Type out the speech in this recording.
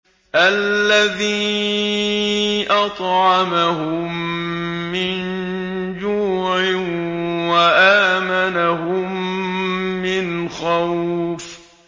الَّذِي أَطْعَمَهُم مِّن جُوعٍ وَآمَنَهُم مِّنْ خَوْفٍ